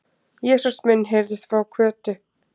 Jesús minn! heyrðist frá Kötu.